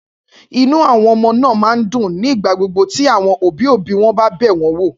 Inú àwọn ọmọ náà máa ń dùn ní gbogbo ìgbà tí àwọn òbí-òbí wọn bá bẹ̀ wọ́n wò.